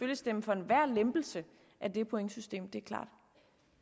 vil stemme for enhver lempelse af det pointsystem det er klart